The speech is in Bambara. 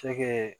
Cɛkɛ